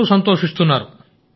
అందరూ సంతోషిస్తున్నారు